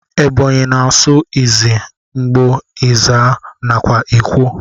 Ebonyi na asụ izzi, ngbo, ezza, nakwa ikwo.